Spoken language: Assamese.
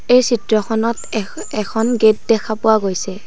এই চিত্ৰখনত এখন এখন গেট দেখা পোৱা গৈছে।